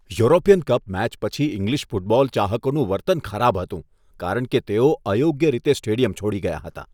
European cup match પછી English football ચાહકોનું વર્તન ખરાબ હતું કારણ કે તેઓ અયોગ્ય રીતે સ્ટેડિયમ છોડી ગયાં હતાં.